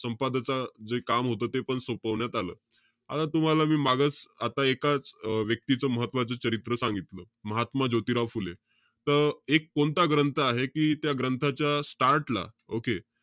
संपादचा जे काम होतं तेपण सोपवण्यात आलं. आता तुम्हाला मी मागं, आता एका अं व्यक्तीचं महत्वाचं चरित्र सांगितलं. महात्मा ज्योतिराव फुले. त एक कोणता ग्रंथ आहे कि, त्या ग्रंथाच्या start ला okay?